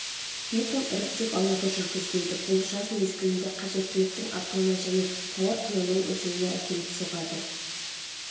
битум іріктеп алуды жүргізбейді бұл жаз мезгілінде қажеттіліктің артуына және тауар құнының өсуіне әкеліп соғады